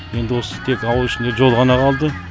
енді осы тек ауыл ішінде жол ғана қалды